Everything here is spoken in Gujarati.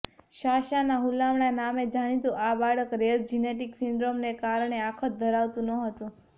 સાશાના હુલામણા નામે જાણીતું આ બાળક રેર જિનેટિક સિન્ડ્રોમને કારણે આંખ જ ધરાવતું નહોતું